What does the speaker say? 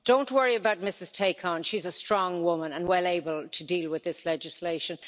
Don't worry about Ms Tacon she's a strong woman and well able to deal with this legislation.